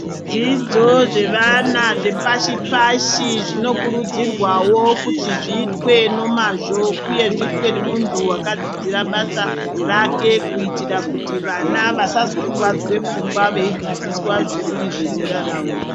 Zvidzidzo zvevana zvepashi pashi zvinokurudzirwawo kuti zviitwe nomazvo uye zviitwe ngemuntu wakadzidzira basa rake kuitira kuti vana vasazokuvadzwe pfungwa veidzidziswa zvisiri zvezera ravo.